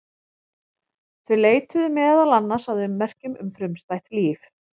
Þau leituðu meðal annars að ummerkjum um frumstætt líf.